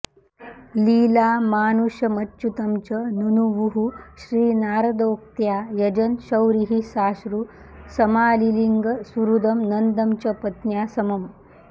लीलामानुषमच्युतं च नुनुवुः श्रीनारदोक्त्या यजन् शौरिः साश्रु समालिलिङ्ग सुहृदं नन्दं च पत्न्या समम्